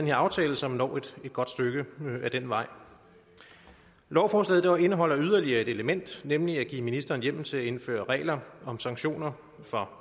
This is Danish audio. i aftalen som når et godt stykke af den vej lovforslaget indeholder yderligere et element nemlig at give ministeren hjemmel til at indføre regler om sanktioner for